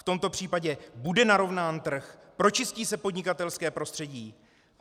V tomto případě bude narovnán trh, pročistí se podnikatelské prostředí?